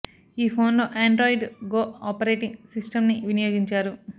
ఈ ఫోన్ లో Android go operating system ని వినియోగించారు